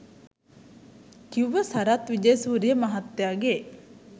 කිව්ව සරත් විජේසූරිය මහත්තයගෙ